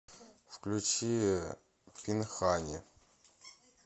включи пинхани